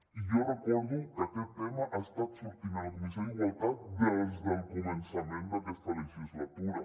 i jo recordo que aquest tema ha estat sortint a la comissió d’igualtat des del començament d’aquesta legislatura